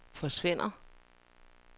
forsvinder